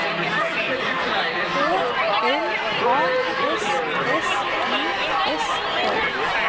K L A S S I S K